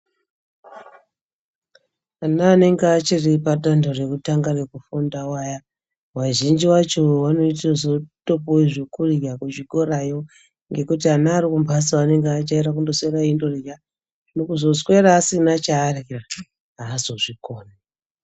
Kune vanenge vachiri padanho rekutanga rekufunda vaya, vazhinji vacho vanotozopuwa zvekurhya kuchikorayo ngekuti ana ari kumbatso anenge ajaira kundoswera eindorhya, hino kuzoswera asina chaarhya aazozvikoni.